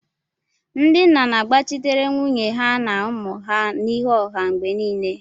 Ndị nna na-agbachitere nwunye ha na ụmụ ha n'ihu ọha mgbe niile